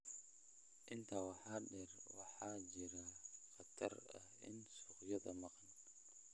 Intaa waxaa dheer, waxaa jira khatar ah in suuqyada maqan